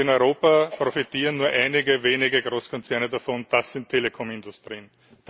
In Europa profitieren nur einige wenige Großkonzerne davon, das sind Telekom Industrien.